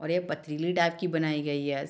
और ये पथरीली टाइप की बनाई गयी है।